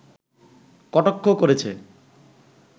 কটাক্ষ করেছে